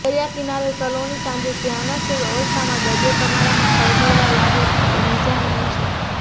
દરિયાકિનારે સલૂણી સાંજે ધ્યાનસ્થ અવસ્થામાં દરિયો તમારામાં ખળભળવા લાગે એ નિજાનંદ છે